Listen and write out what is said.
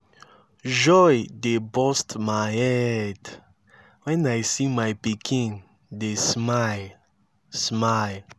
joy dey burst my head wen i see my pikin dey smile smile